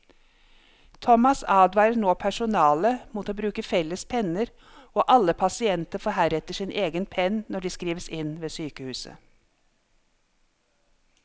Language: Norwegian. Thomas advarer nå personalet mot å bruke felles penner, og alle pasienter får heretter sin egen penn når de skrives inn ved sykehuset.